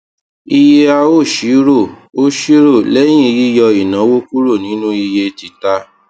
iye a ó ṣírò ó ṣírò lẹyìn yíyọ ìnáwó kúrò nínú iye tita